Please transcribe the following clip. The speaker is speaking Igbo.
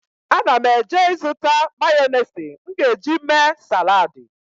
Ana m eje ịzụta mayọnesị m ga-eji mee saladị.